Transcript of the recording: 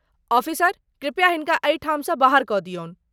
Officer, कृपया हिनका एहिठाम सँ बाहर कऽ दियौन।